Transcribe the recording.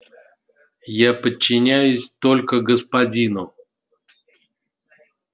я подчиняюсь только господину